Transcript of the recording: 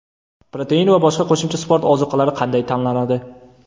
Protein va boshqa qo‘shimcha sport ozuqalari qanday tanlanadi?.